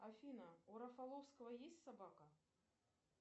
афина у рафаловского есть собака